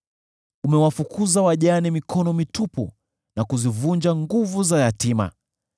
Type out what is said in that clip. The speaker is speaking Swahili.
Umewafukuza wajane mikono mitupu na kuzivunja nguvu za yatima.